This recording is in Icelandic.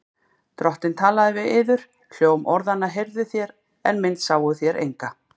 Drottinn talaði við yður. hljóm orðanna heyrðuð þér, en mynd sáuð þér enga.